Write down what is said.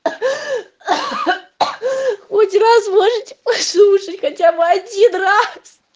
хоть раз можете послушать хотя бы один раз